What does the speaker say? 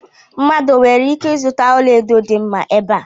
Mmadụ o nwere ike ịzụta ọla edo dị mma ebe a?